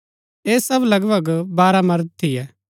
ऐह सब लगभग बारह मर्द थियै